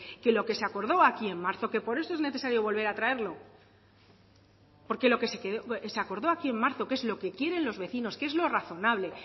que lo que se acordó aquí en marzo que por eso es necesario volver a traerlo porque lo que se acordó aquí en marzo que es lo que quieren los vecinos que es lo razonable